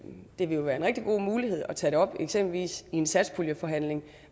det vil jo være en rigtig god mulighed at tage det op eksempelvis i en satspuljeforhandling